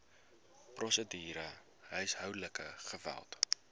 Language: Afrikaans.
prosedure huishoudelike geweld